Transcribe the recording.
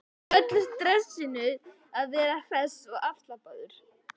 Í öllu stressinu að vera hress og afslappaður.